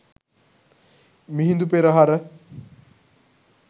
Mihindu Perahera